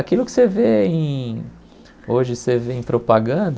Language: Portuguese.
Aquilo que você vê em hoje você vê em propaganda,